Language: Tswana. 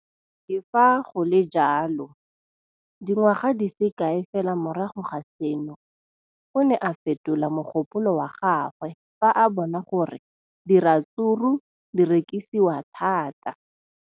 Le fa go le jalo, dingwaga di se kae fela morago ga seno, o ne a fetola mogopolo wa gagwe fa a bona gore diratsuru di rekisiwa thata.